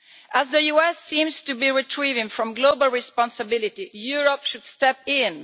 As the US seems to be retreating from global responsibility, Europe should step in.